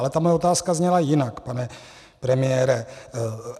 Ale ta má otázka zněla jinak, pane premiére.